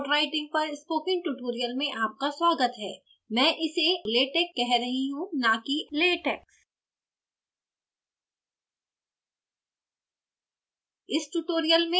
latex में report writing पर spoken tutorial में आपका स्वागत है मैं इसे latek कह रही हूँ न कि latex